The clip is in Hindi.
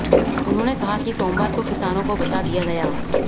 उन्होंने कहा कि सोमवार को किसानों को बता दिया गया